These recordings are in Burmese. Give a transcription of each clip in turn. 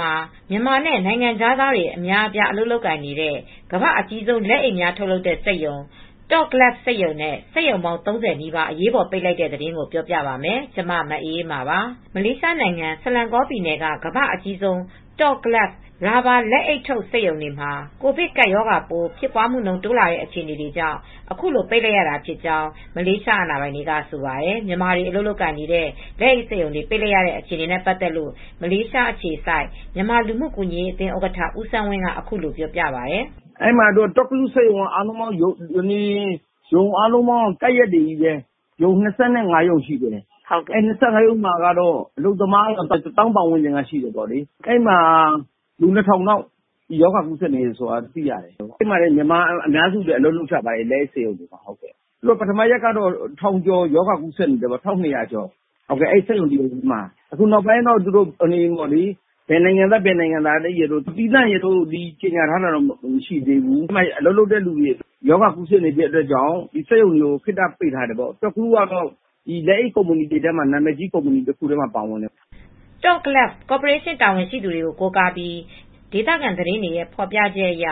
မှာ မြန်မာနဲ့ နိုင်ငံခြားသားတွေ အလုပ်လုပ်နေတဲ့ ကမ္ဘာ့အကြီးဆုံး လက်အိတ်တွေ ထုတ်လုပ်တဲ့စက်ရုံ Top Glove စက်ရုံနဲ့ စက်ရုံပေါင်း ၃၀ နီးပါး အရေးပေါ်ပိတ်လိုက်ရပါတယ်။ အပြည့်အစုံကို ထိုင်းအခြေစိုက် ဗွီအိုအေမြန်မာပိုင်း သတင်းထောက် မအေးအေးမာ တင်ပြပေးထားပါတယ်။ မလေးရှားနိုင်ငံ ဆလန်ဂေါပြည်နယ်က ကမ္ဘာ့အကြီးဆုံး Top Glove ရာဘာလက်အိတ်ထုတ် စက်ရုံတွေမှာ ကိုဗစ် ကပ်ရောဂါပိုး ဖြစ်ပွားမှု တိုးလာနေတဲ့ အခြေအနေကြောင့် အခုလို ပိတ်လိုက်ရတာဖြစ်ကြောင်း မလေးရှား အာဏာပိုင်တွေက ဆိုပါတယ်။ မြန်မာတွေ အလုပ်လုပ်နေတဲ့ လက်အိတ်စက်ရုံတွေ ပိတ်လိုက်ရတဲ့ အခြေအနေနဲ့ ပတ်သက်လို့ မလေးရှားအခြေစိုက် မြန်မာလူမှုကူညီရေးအသင်း ဥက္ကဋ္ဌ ဦးစန်းဝင်းက အခုလိုပြောပြပါတယ်။ “Top Glove စက်ရုံက အားလုံး ကပ်လျက်တွေချည်းပဲ၊ စက်ရုံ ၂၅ ရုံရှိတယ်။ ၂၅ ရုံမှာ အလုပ်သမား ၁၀,၀၀၀ ပတ်ဝန်းကျင်ရှိတယ်။ အဲဒီမှာ လူ ၂,၀၀၀ ကျော်လောက် ရောဂါကူးစက်နေတယ်။ အဲဒီမှာ မြန်မာအများစုကလည်း အလုပ်လုပ်ကြပါတယ် လက်အိတ်စက်ရုံတွေမှာ။ သူက ပထမရက်ကတော့ ၁,၂၀၀ လောက် ကူးစက်နေတယ်ပေါ့။ ဘယ်နိုင်ငံသားရယ်လို့ အဲဒီမှာ သီးသန့် ကြေညာတာတော့ မရှိဘူး။ အဲဒီမှာ ရောဂါကူးစက်မှုကြောင့် ဒီစက်ရုံတွေကို ခေတ္တပိတ်ထားတယ်ပေါ့။ Top Glove နာမည်ကြီး လက်အိတ်တွေမှာ ပါတယ်။” Top Glove ကော်ပိုရေးရှင်း တာဝန်ရှိသူတွေကို ကိုးကားပြီး ဒေသခံသတင်းတွေရဲ့ ဖော်ပြချက်အရ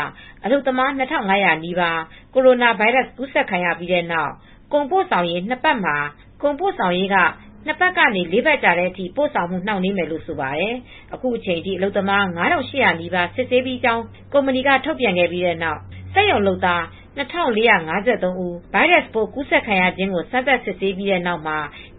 အလုပ်သမား ၂,၅၀၀ နီးပါး ကိုရိုနာဗိုင်းရပ်စ် ကူးစက်ခံရပြီးနောက် ကုန်ပို့ဆောင်ရေးက ၂ ပတ်ကနေ ၄ ပတ်ကြာ ပို့ဆောင်မှု နှောင့်နှေးမယ်လို့ ဆိုပါတယ်။ အခုအချိန်အထိ အလုပ်သမား ၅,၈၀၀ နီးပါး စစ်ဆေးပြီးဖြစ်တယ်လို့ ကုမ္ပဏီက ထုတ်ပြန်ခဲ့ပြီးတဲ့နောက် စက်ရုံလုပ်သား ၂,၄၅၃ ဦး ဗိုင်းရပ်စ်ပိုး ကူးစက်ခံရခြင်းကို စမ်းသပ်စစ်ဆေးပြီးနောက်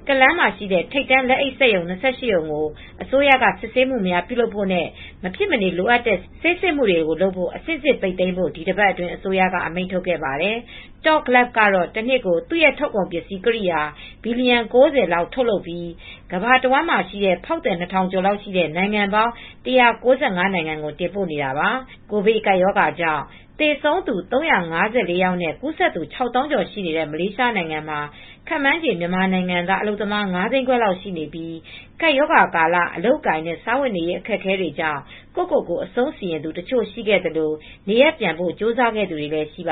Klang ရှိ ထိပ်တန်းလက်အိတ်စက်ရုံ ၂၈ ရုံကို အစိုးရက စစ်ဆေးမှုတွေ ပြုလုပ်ဖို့နဲ့ မဖြစ်မနေ လိုအပ်တဲ့ ဆေးစစ်မှုတွေကို လုပ်ဖို့၊ အဆင့်ဆင့်ပိတ်သိမ်းဖို့ ဒီအပတ်အတွင်း အစိုးရက အမိန့်ထုတ်ခဲ့ပါတယ်။ Top Glove ကတော့ တနှစ်ကို သူ့ထုတ်ကုန်ပစ္စည်းကိရိယာ ဘီလီယံ ၉၀ လောက် ထုတ်လုပ်ပြီး ကမ္ဘာတဝန်းမှာရှိတဲ့ ဖောက်သည် ၂,၀၀၀ ကျော်ရှိတဲ့ နိုင်ငံပေါင်း ၁၉၅ နိုင်ငံကို တင်ပို့နေတာပါ။ ကိုဗစ်ကပ်ရောဂါကြောင့် သေဆုံးသူ ၃၅၄ ယောက်နဲ့ ကူးစက်သူ ၆၀,၀၀၀ ကျော် ရှိနေတဲ့ မလေးရှားနိုင်ငံမှာ ခန့်မှန်းခြေ မြန်မာနိုင်ငံသား အလုပ်သမား ၅ သိန်းခွဲလောက် ရှိနေပြီး ကပ်ရောဂါကာလ အလုပ်အကိုင်နဲ့ စားဝတ်နေရေး အခက်အခဲကြောင့် ကိုယ့်ကိုယ်ကို အဆုံးစီရင်သူတချို့ ရှိခဲ့သလို နေရပ်ပြန်ဖို့ ကြိုးစားသူတွေလည်း ရှိပါ